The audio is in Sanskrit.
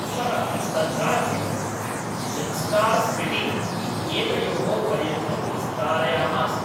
सः तद्राज्यं ज़ंस्कार् स्पिटि इत्येतयोः पर्यन्तं विस्तारयामास